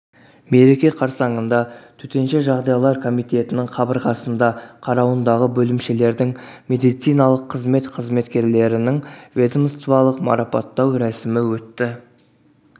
мереке қарсаңында төтенше жағдайлар комитетінің қабырғасында қарауындағы бөлімшелердің медициналық қызмет қызметкерлерін ведомстволық марапаттау рәсімі өтті